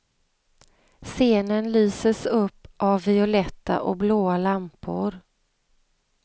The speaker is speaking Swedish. Scenen lyses up av violetta och blåa lampor.